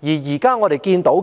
而現在我們看到，